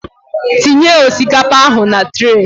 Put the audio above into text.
Tinye osikapa ahụ na trey